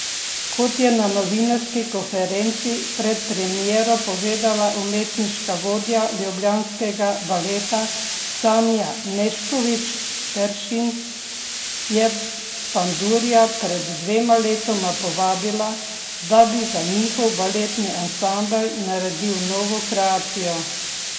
Kot je na novinarski konferenci pred premiero povedala umetniška vodja ljubljanskega baleta Sanja Nešković Peršin, je Pandurja pred dvema letoma povabila, da bi za njihov baletni ansambel naredil novo kreacijo.